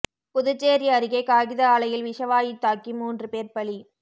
புதுச்சேரி அருகே காகித ஆலையில் விஷவாயு தாக்கி மூன்று பேர் பலி